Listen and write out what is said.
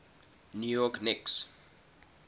new york knicks